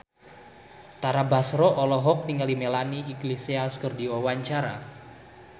Tara Basro olohok ningali Melanie Iglesias keur diwawancara